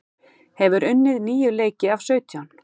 Hefur unnið níu leiki af sautján